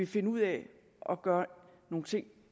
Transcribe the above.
finde ud af at gøre nogle ting